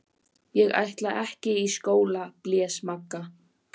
Ekki ætla ég í skóla blés Magga.